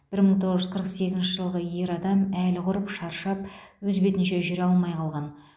бір мың тоғыз жүз қырық сегізінші жылғы ер адам әлі құрып шаршап өз бетінше жүре алмай қалған